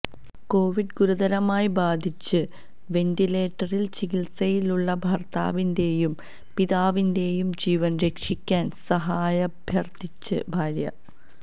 Covid ഗുരുതരമായി ബാധിച്ച് വെന്റിലേറ്ററില് ചികിത്സയിലുള്ള ഭര്ത്താവിന്റെയും പിതാവിന്റെയും ജീവന് രക്ഷിക്കാന് സഹായമഭ്യര്ത്ഥിച്ച് ഭാര്യ